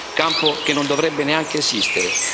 Campo che non dovrebbe neanche esistere.